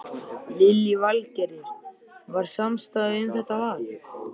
Lillý Valgerður: Var samstaða um þetta val?